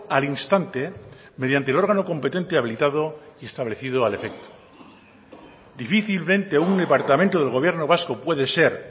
al instante mediante el órgano competente habilitado establecido al efecto difícilmente un departamento del gobierno vasco puede ser